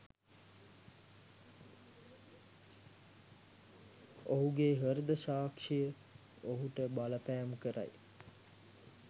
ඔහුගෙ හෘද සාක්ශිය ඔහුට බලපෑම් කරයි